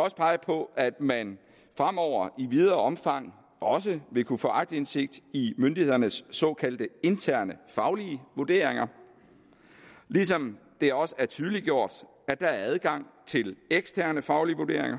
også pege på at man fremover i videre omfang også vil kunne få aktindsigt i myndighedernes såkaldte interne faglige vurderinger ligesom det også er tydeliggjort at der er adgang til eksterne faglige vurderinger